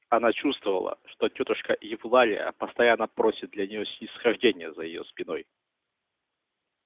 она чувствовала что тётушка евлалия постоянно просит для нее снисхождения за её спиной